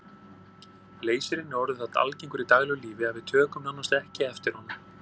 Leysirinn er orðinn það algengur í daglegu lífi að við tökum nánast ekki eftir honum.